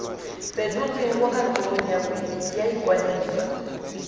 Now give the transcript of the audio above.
fetotsweng kwa kantorong ya ikwadiso